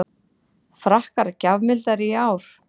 Frakkar gjafmildari í ár